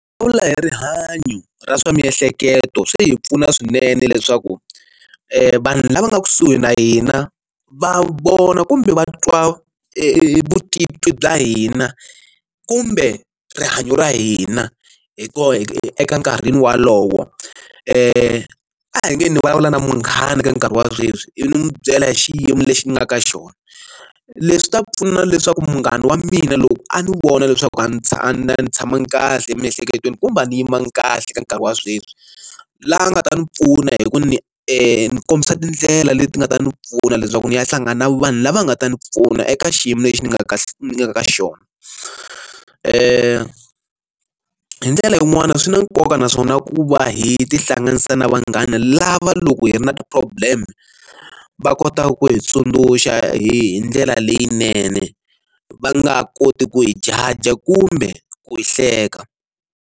Va vula hi rihanyo ra swa miehleketo swi hi pfuna swinene leswaku vanhu lava nga kusuhi na hina va vona kumbe va twa vutitwi bya hina kumbe rihanyo ra hina hi ku eka nkarhini wolowo e a hi nge ni vulavula na munghana ka nkarhi wa sweswi ivi ni n'wi byela hi xiyimo lexi ni nga ka xona leswi ta pfuna leswaku munghana wa mina loko a ni vona leswaku a ndzi tshama a ni tshamangi kahle emiehleketweni kumbe a ni yimanga kahle ka nkarhi wa sweswi la nga ta ni pfuna hi ku ni ni kombisa tindlela leti nga ta ni pfuna leswaku ni ya hlangana na vanhu lava nga ta ni pfuna eka xiyimo lexi ni nga ka ni nga ka xona ke hi ndlela yin'wani swi na nkoka naswona ku va hi tihlanganisa na vanghana lava loko hi ri na problem va kotaka ku hi tsundzuxa hi ndlela leyinene va nga koti ku hi judger kumbe ku hi hleka.